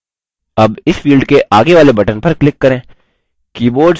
अब इस field के आगे वाले button पर click करें